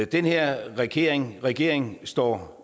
den her regering regering står